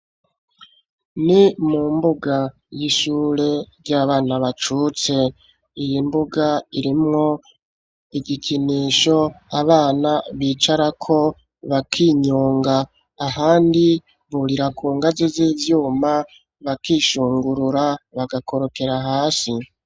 Ni mu mbuga y'ishure ry'abana bacutse. Iyi mbuga irimwo igikinisho abana bicarako bakinyunga. Ahandi burira ku ngazi z'ivyuma bakishungurura bagakorokera hasi.